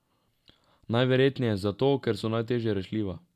Najverjetneje zato, ker so najteže rešljiva.